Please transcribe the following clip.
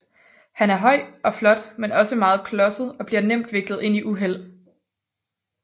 Han er høj og flot men også meget klodset og bliver nemt viklet ind i uheld